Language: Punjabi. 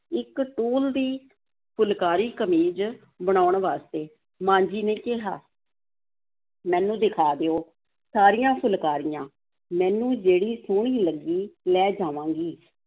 ਇੱਕ ਟੂਲ ਦੀ ਫੁਲਕਾਰੀ, ਕਮੀਜ਼ ਬਣਾਉਣ ਵਾਸਤੇ, ਮਾਂ ਜੀ ਨੇ ਕਿਹਾ ਮੈਨੂੰ ਦਿਖਾ ਦਿਓ, ਸਾਰੀਆਂ ਫੁਲਕਾਰੀਆਂ, ਮੈਨੂੰ ਜਿਹੜੀ ਸੋਹਣੀ ਲੱਗੀ, ਲੈ ਜਾਵਾਂਗੀ,